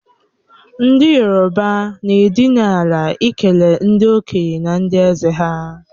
Ndi yoroba n'edinala ikele ndi okenye na ndi eze ha.